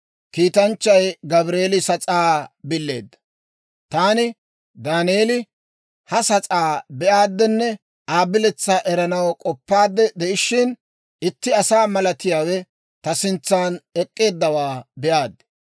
Taani, Daaneeli, ha sas'aa be'aaddenne Aa biletsaa eranaw k'oppaadde de'ishshin, itti asaa malatiyaawe ta sintsan ek'k'eeddawaa be'aad.